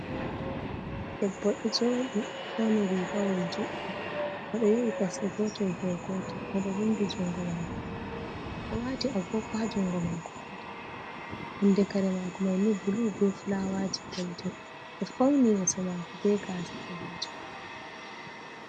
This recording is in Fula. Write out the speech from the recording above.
Debbo do jodi o fauni rikawol juddum, o do yawi kosde Gotel dow gotel no do vundi jungo mako bo odo wati agogo ha jungo mako gotel, nonde kare mako maini bulu be fulawaji golden do fauni yeso mako be gasa balejum.